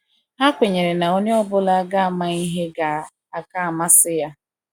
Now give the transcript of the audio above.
Ha kwenyere na onye ọ bụla ga ama ihe ga - aka amasị ya.